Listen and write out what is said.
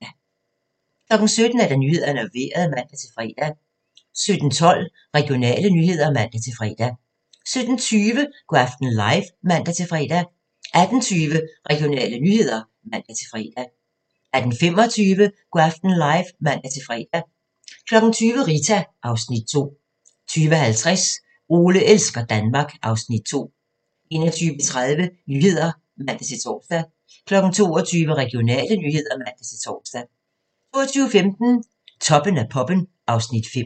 17:00: Nyhederne og Vejret (man-fre) 17:12: Regionale nyheder (man-fre) 17:20: Go' aften live (man-fre) 18:20: Regionale nyheder (man-fre) 18:25: Go' aften live (man-fre) 20:00: Rita (Afs. 2) 20:50: Ole elsker Danmark (Afs. 2) 21:30: Nyhederne (man-tor) 22:00: Regionale nyheder (man-tor) 22:15: Toppen af poppen (Afs. 5)